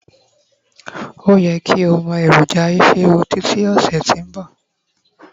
o ye ki o mọ eroja isiewu Títí ọsẹ ti nbọ